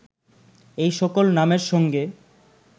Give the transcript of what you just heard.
এই সকল নামের সঙ্গে